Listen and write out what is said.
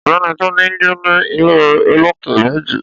Ọ̀gbẹ́ni Túndé ńgbé ní ilé olókè méjì